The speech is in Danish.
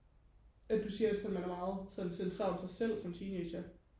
at du siger altså man er meget sådan centreret om sig selv som teenager